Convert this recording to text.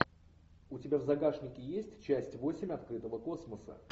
у тебя в загашнике есть часть восемь открытого космоса